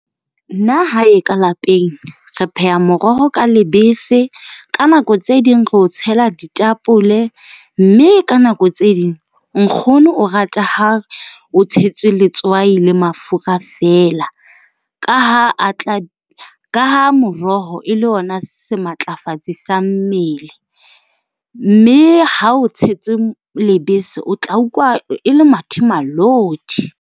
Nna hae ka lapeng, re pheha moroho ka lebese. Ka nako tse ding re o tshela ditapole, mme ka nako tse ding nkgono o rata ha o tshetswe letswai le mafura feela, ka ha a tla ka ha moroho e le ona sematlafatsi sa mmele. Mme ha o tshetswe lebese, o tla utlwa e le mathemalodi.